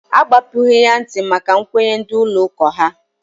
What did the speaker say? Agbapughi ya ntị maka nkwenye ndị ụlọ ụka ha.